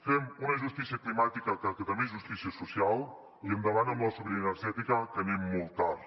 fem una justícia climàtica que també és justícia social i endavant amb la sobirania energètica que anem molt tard